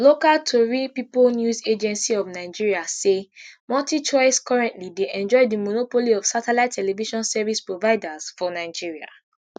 local tori pipo news agency of nigeria say multichoice currently dey enjoy di monopoly of satellite television service providers for nigeria